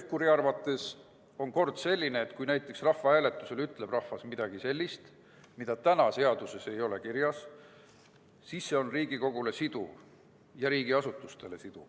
Pevkuri arvates on kord selline, et kui rahvahääletusel ütleb rahvas midagi sellist, mida täna seaduses kirjas ei ole, siis see on Riigikogule ja riigiasutustele siduv.